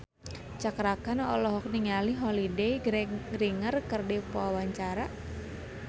Cakra Khan olohok ningali Holliday Grainger keur diwawancara